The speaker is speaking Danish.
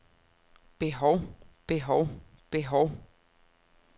behov behov behov